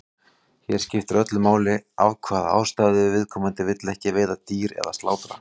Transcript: Hér skiptir öllu máli af hvaða ástæðu viðkomandi vill ekki veiða dýr eða slátra.